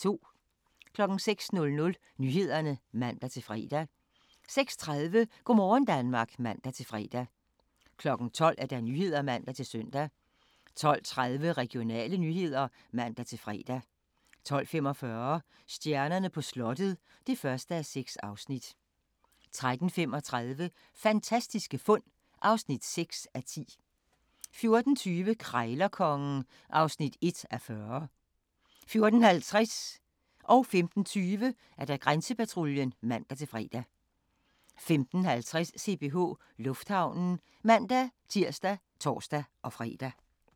06:00: Nyhederne (man-fre) 06:30: Go' morgen Danmark (man-fre) 12:00: Nyhederne (man-søn) 12:30: Regionale nyheder (man-fre) 12:45: Stjernerne på slottet (1:6) 13:35: Fantastiske fund (6:10) 14:20: Krejlerkongen (1:40) 14:50: Grænsepatruljen (man-fre) 15:20: Grænsepatruljen (man-fre) 15:50: CPH Lufthavnen (man-tir og tor-fre)